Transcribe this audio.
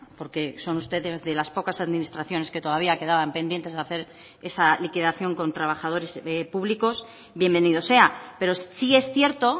porque son ustedes de las pocas administraciones que todavía quedaban pendientes de hacer esa liquidación con trabajadores públicos bienvenido sea pero sí es cierto